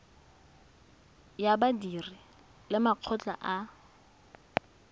ya badiri le makgotla a